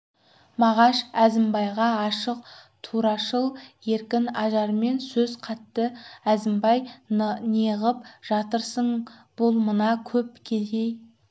мағаш әзімбайға ашық турашыл еркін ажармен сөз қатты әзімбай неғып жатырсың бұл мына көп кедей